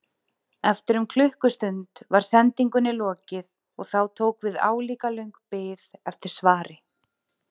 Eftir um klukkustund var sendingunni lokið og þá tók við álíka löng bið eftir svari.